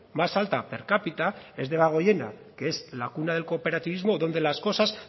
más alta per cápita es debagoiena que es la cuna del cooperativismo donde las cosas